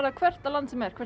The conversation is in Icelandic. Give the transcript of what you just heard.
hvert á lands sem er hvert